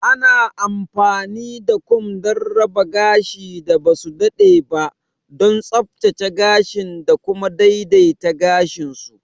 Ana amfani da kum don raba gashin da ba su daɗe ba, don tsaftace gashin da kuma daidaita gashin su.